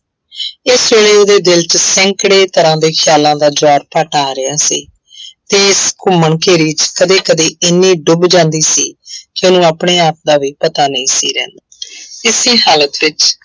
ਇਸ ਵੇਲੇ ਉਹਦੇ ਦਿਲ ਚ ਸੈਂਕੜੇ ਤਰ੍ਹਾਂ ਦੇ ਖਿਆਲਾਂ ਦਾ ਜਵਾਰਭਾਟਾ ਆ ਰਿਹਾ ਸੀ ਤੇ ਇਸ ਘੁੰਮਣਘੇਰੀ ਚ ਕਦੇ ਕਦੇ ਇੰਨੀ ਡੁਬ ਜਾਂਦੀ ਸੀ ਕਿ ਉਹਨੂੰ ਆਪਣੇ ਆਪ ਦਾ ਵੀ ਪਤਾ ਨਹੀਂ ਸੀ ਰਹਿੰਦਾ ਇਸੀ ਹਾਲਤ ਵਿੱਚ